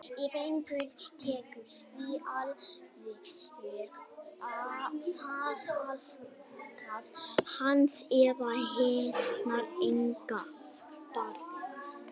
Ef einhver tekur því alvarlega er það alfarið á hans eða hennar eigin ábyrgð.